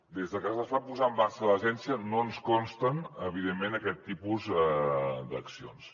des de que es va posar en marxa l’agència no ens consten evidentment aquest tipus d’accions